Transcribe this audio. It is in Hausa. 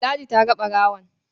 Ladi ta ga ɓarawon.